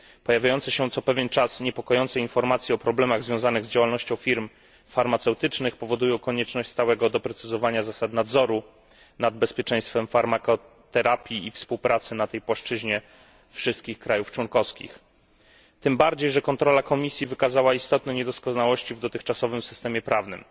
Pojawiające się co pewien czas niepokojące informacje o problemach związanych z działalnością firm farmaceutycznych powodują konieczność stałego doprecyzowywania zasad nadzoru nad bezpieczeństwem farmakoterapii i współpracy na tej płaszczyźnie wszystkich państw członkowskich, tym bardziej, że kontrola Komisji wykazała istotne niedoskonałości w dotychczasowym systemie prawnym.